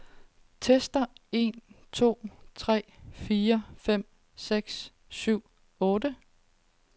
Tester en to tre fire fem seks syv otte.